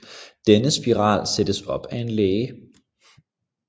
Denne spiral sættes op af en læge